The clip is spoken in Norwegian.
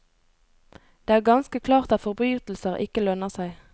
Det er ganske klart at forbrytelser ikke lønner seg.